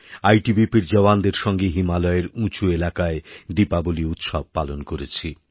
আইটিবিপির জওয়ানদের সঙ্গে হিমালয়ের উঁচু এলাকায় দীপাবলি উৎসব পালন করেছি